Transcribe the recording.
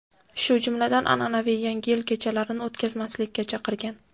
shu jumladan an’anaviy Yangi yil kechalarini o‘tkazmaslikka chaqirgan.